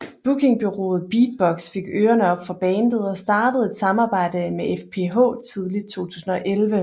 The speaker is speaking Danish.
Bookingbureauet Beatbox fik ørerne op for bandet og startede et samarbejde med FPH tidligt 2011